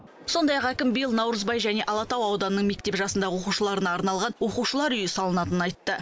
сондай ақ әкім биыл наурызбай және алатау ауданының мектеп жасындағы оқушыларына арналған оқушылар үйі салынатынын айтты